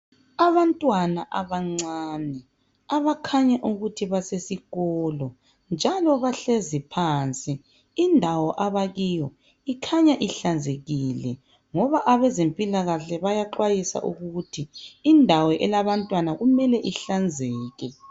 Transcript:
Abantwana abancane abakhanya ukuthi basesikolo njalo bahlezi phansi. Indawo abakiyo ikhanya ihlanzekile ngoba abezempilakahle bayaxwayisa ukuthi indawo elabantwana kumele ihlanzeke.